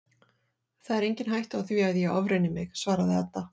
Það er engin hætta á því að ég ofreyni mig, svaraði Edda.